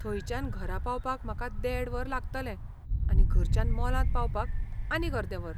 थंयच्यान घरा पावपाक म्हाका देड वर लागतलें आनी घराच्यान मॉलांत पावपाक आनीक अर्दे वर.